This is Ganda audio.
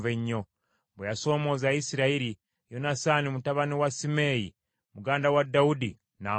Bwe yasoomooza Isirayiri, Yonasaani mutabani wa Simeeya, muganda wa Dawudi, n’amutta.